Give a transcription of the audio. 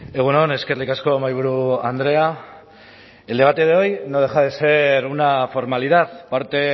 egun on eskerrik asko mahaiburu andrea el debate de hoy no deja de ser una formalidad parte